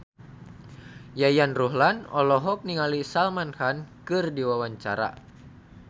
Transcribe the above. Yayan Ruhlan olohok ningali Salman Khan keur diwawancara